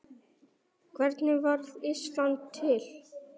Hvernig varð Ísland til?